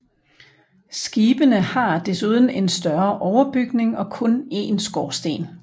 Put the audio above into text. Skibene har en desuden en større overbygning og kun en skorsten